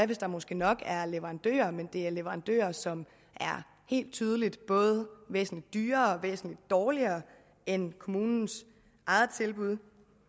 hvis der måske nok er leverandører men det er leverandører som helt tydeligt er både væsentlig dyrere og væsentlig dårligere end kommunens eget tilbud